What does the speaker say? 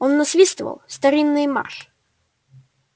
он насвистывал старинный марш